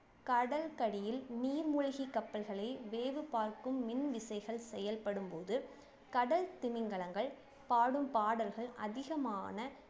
கடலுக்கு அடியில் நீர்மூழ்கிக் கப்பல்களை வேவு பார்க்கும் மின்விசைகள் செயல்படும் போது கடல் திமிங்கலங்கள் பாடும் பாடல்கள் அதிகமான